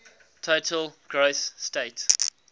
total gross state